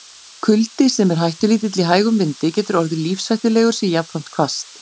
Kuldi, sem er hættulítill í hægum vindi, getur orðið lífshættulegur sé jafnframt hvasst.